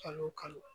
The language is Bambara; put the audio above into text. Kalo o kalo